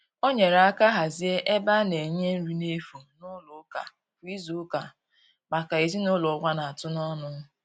O nyere aka hazie ebe a na-enye nri na efu n'ụlọ ụka kwa izuụka maka ezinụlọ ụwa na-atụ n'ọnụ.